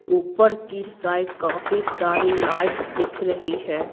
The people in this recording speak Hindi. ऊपर की साइड काफी सारी लाइट्स दिख रही है।